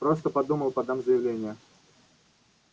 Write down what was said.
просто подумал подам заявление